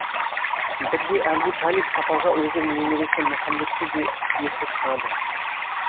бірде әбу талиб сапарға өзінің немересі мұхаммедті де ерте шығады